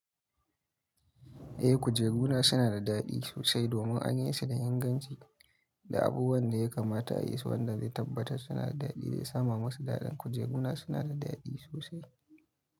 Eh kujeru na suna da daɗi sosai domin an yi su da inganci da abubuwan da ya kamata a yi su wanda zai tabbatar suna da daɗi zai sa ma masu daɗin kujeru na suna da daɗi sosai.